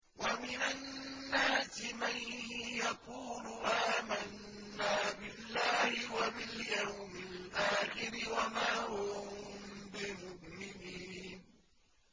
وَمِنَ النَّاسِ مَن يَقُولُ آمَنَّا بِاللَّهِ وَبِالْيَوْمِ الْآخِرِ وَمَا هُم بِمُؤْمِنِينَ